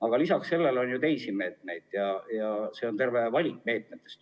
Aga peale selle on ju ka teisi meetmeid, terve valik meetmeid.